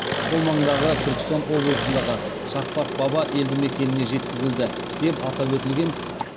сол маңдағы түркістан облысындағы шақпақ баба елді мекеніне жеткізілді деп атап өтілген